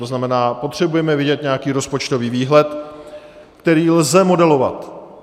To znamená, potřebujeme vědět nějaký rozpočtový výhled, který lze modelovat.